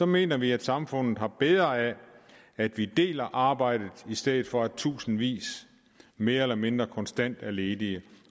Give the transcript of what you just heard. mener vi at samfundet har bedre af at vi deler arbejdet i stedet for at tusindvis mere eller mindre konstant er ledige